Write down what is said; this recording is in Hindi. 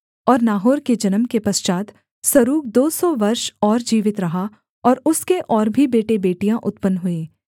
और नाहोर के जन्म के पश्चात् सरूग दो सौ वर्ष और जीवित रहा और उसके और भी बेटेबेटियाँ उत्पन्न हुईं